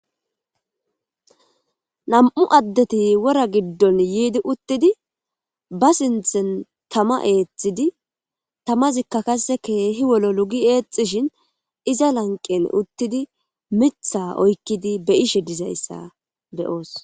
Nam77u addeti wora giddon yiidi uttidi ba sinthen tama eethidi tamazikka qasse keehi wololi gi eexxishin iza lanqqen uttidi mitha oyqqidi be7ishe dizayssa be7oos.